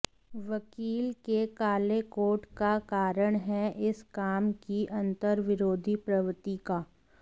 वकील के काले कोट का कारण है इस काम की अंतर्विरोधी प्रवृत्ति का